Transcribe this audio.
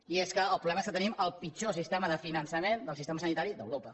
i és que el problema és que tenim el pitjor sistema de finançament del sistema sanitari d’europa